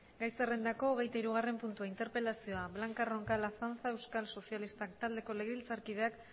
gai zerrendako hogeita hirugarren puntua interpelazioa blanca roncal azanza euskal sozialistak taldeko legebiltzarkideak